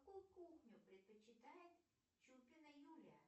какую кухню предпочитает чупина юлия